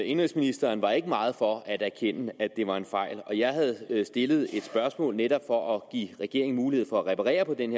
indenrigsministeren var ikke meget for at erkende at det var en fejl jeg havde stillet et spørgsmål netop for at give regeringen mulighed for at reparere på den